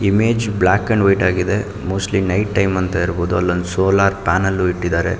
Image black and white ಆಗಿದೆ mostly night time ಅಂತ ಇರ್ಬಹುದು ಅಲೊಂದು ಸೋಲಾರ್ ಪಾನೆಲ್ ಇಟ್ಟಿದ್ದಾರೆ.